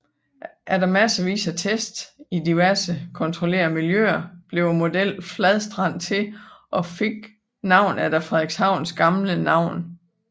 Efter massevis af tests i diverse kontrollerede miljøer blev modellen Fladstrand til og fik navn efter Frederikshavns gamle navn